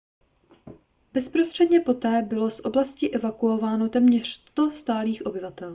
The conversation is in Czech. bezprostředně poté bylo z oblasti evakuováno téměř 100 stálých obyvatel